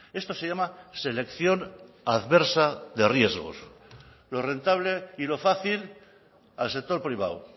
esto se llama selección adversa de riesgos lo rentable y lo fácil al sector privado